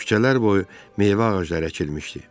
Küçələr boyu meyvə ağacları əkilmişdi.